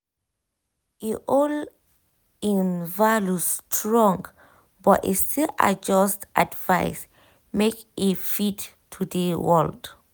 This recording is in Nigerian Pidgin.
e hold im values strong but e still adjust advice make e fit today world.